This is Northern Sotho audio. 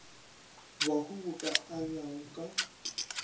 bahu bo ka abjago ka